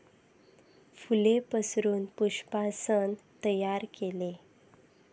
फूले पसरून पुष्पासन तैयार केले.